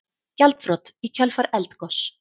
Gjaldþrot í kjölfar eldgoss